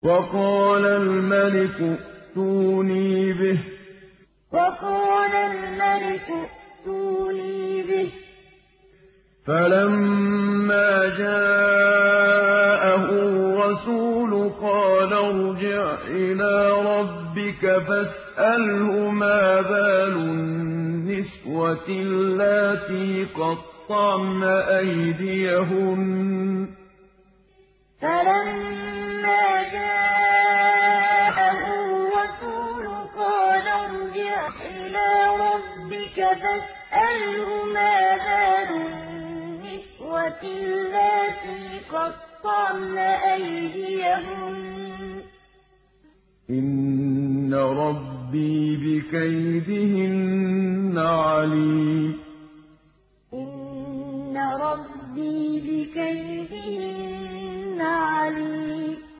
وَقَالَ الْمَلِكُ ائْتُونِي بِهِ ۖ فَلَمَّا جَاءَهُ الرَّسُولُ قَالَ ارْجِعْ إِلَىٰ رَبِّكَ فَاسْأَلْهُ مَا بَالُ النِّسْوَةِ اللَّاتِي قَطَّعْنَ أَيْدِيَهُنَّ ۚ إِنَّ رَبِّي بِكَيْدِهِنَّ عَلِيمٌ وَقَالَ الْمَلِكُ ائْتُونِي بِهِ ۖ فَلَمَّا جَاءَهُ الرَّسُولُ قَالَ ارْجِعْ إِلَىٰ رَبِّكَ فَاسْأَلْهُ مَا بَالُ النِّسْوَةِ اللَّاتِي قَطَّعْنَ أَيْدِيَهُنَّ ۚ إِنَّ رَبِّي بِكَيْدِهِنَّ عَلِيمٌ